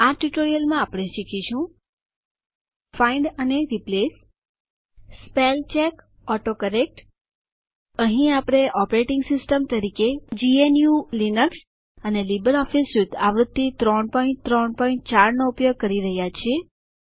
આ ટ્યુટોરીયલ આપણે શીખીશું ફાઇન્ડ અને રિપ્લેસ શોધવું અને બદલવું સ્પેલચેક શબ્દ જોડણીની તપાસ ઓટોકરેક્ટ શબ્દ જોડણીના આપમેળે સુધારા અહીં આપણે ઓપરેટીંગ સીસ્ટમ તરીકે જીએનયુ લીનક્સ અને લીબર ઓફીસ સ્યુટ આવૃત્તિ ૩૩૪ નો ઉપયોગ કરી રહયા છીએ